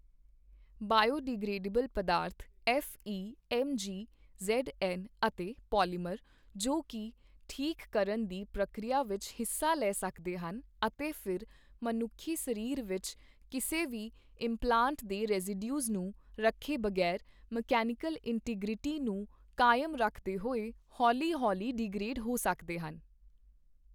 Biodegradable ਪਦਾਰਥ F E, M G, Z N, ਅਤੇ polymer, ਜੋ ਕੀ ਠੀਕ ਕਰਨ ਦੀ ਪ੍ਰਕਿਰਿਆ ਵਿੱਚ ਹਿੱਸਾ ਲੈ ਸਕਦੇ ਹਨ ਅਤੇ ਫਿਰ ਮਨੁੱਖੀ ਸਰੀਰ ਵਿੱਚ ਕਿਸੇ ਵੀ ਇੰਪਲਾਂਟ ਦੇ ਰੇਜ਼ੀਡਿਊਜ਼ ਨੂੰ ਰੱਖੇ ਬਗ਼ੈਰ ਮਕੈਨੀਕਲ ਇੰਟੀਗ੍ਰੀਟੀ ਨੂੰ ਕਾਇਮ ਰੱਖਦੇ ਹੋਏ ਹੌਲ਼ੀ ਹੌਲ਼ੀ ਡੀਗਰੇਡ ਹੋ ਸਕਦੇ ਹਨ।